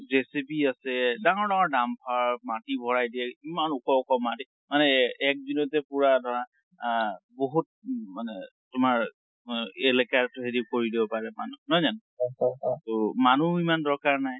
JCB আছে, ডাঙৰ ডাঙৰ dumper মাটি ভৰাই দিয়ে, এমান ওখ ওখ মাটি, মানে এ এক দিনটে পুৰা ধৰা আ বহুত মানে তোমাৰ আ এলেকাৰ হেৰি কৰি দিব পাৰে মানে, নহয় জানো? টো মানুহ ইমান দৰকাৰ নাই।